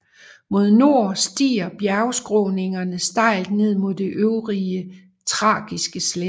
Mod nord stiger bjergskråningerne stejlt ned mod den øvre trakiske slette